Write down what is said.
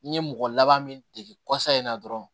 N ye mɔgɔ laban min dege kɔsɔ in na dɔrɔn